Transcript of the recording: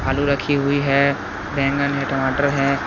आलू रखी हुई है बैंगन है टमाटर है।